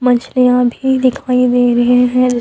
मछलियां भी दिखाई दे रहे है।